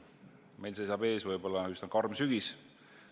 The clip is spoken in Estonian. Meil seisab ees võib-olla üsna karm sügis.